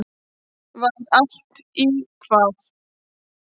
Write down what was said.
Var allt í hvað?